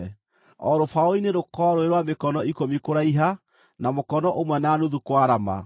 O rũbaũ-inĩ rũkorwo rũrĩ rwa mĩkono ikũmi kũraiha na mũkono ũmwe na nuthu kwarama,